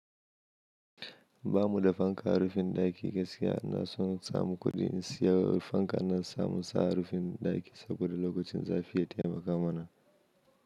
Ba mu da fankar rufin ɗaki gaskiya. Na so na samu kuɗi in saya rufan, ka na samu sa harufin ɗaki saboda lokacin zafi ya taimaka mana.